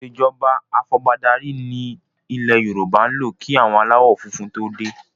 Ìsèjọba ifọbadárí ni ilẹ̀ Yorùbá ń lò kí àwọn aláwọ funfun to dé